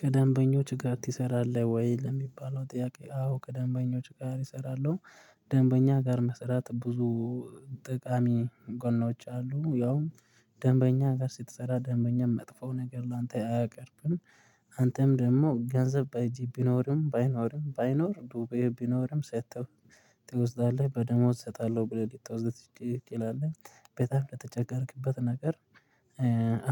ከደንበኞች ጋር ትሰራለህ ወይ? ለሚባለው ጥያቄ አዎ ከደንበኞች ጋር እሰራለሁ። ደንበኛ ጋር መስራት ብዙ ጠቃሚ ጎኖች አሉ። ያውም ደንበኛ ጋር ስትሰራ ደንበኛም መጥፎ ነገር ላንተ አያቀርብም። አንተም ደግሞ ገንዘብ በእጅ ቢኖርም ባይኖርም ባይኖርም ዱቤ ቢኖርም ሰጥተው ትወስዳለህ በደሞዝ እሰጣለሁ ብለህ ልትወስድ ትችላለህ። በጣም ለተቸገርክበት ነገር